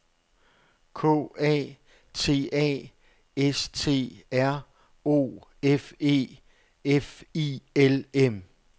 K A T A S T R O F E F I L M